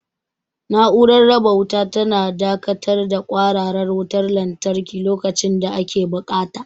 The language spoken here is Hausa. Na'urar raba wuta tana dakatar da kwararar wutar lantarki lokacin da ake buƙata.